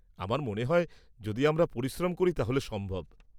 আমার মনে হয় যদি আমরা পরিশ্রম করি, তাহলে সম্ভব।